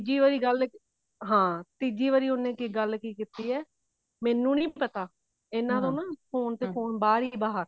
ਜੀ ਉਹੀ ਗੱਲ ਹਾਂ ਤੀਜੀ ਵਾਰੀ ਉਹਨੇ ਗੱਲ ਕੀ ਕੀਤੀ ਹੈ ਮੈਨੁੰ ਨੀ ਪਤਾ ਇਹਨਾ ਤੋਂ phone ਤੇ phone ਬਾਹਰ ਹੀ ਬਾਹਰ